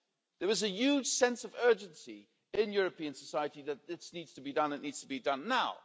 There is a huge sense of urgency in European society that this needs to be done and it needs to be done now.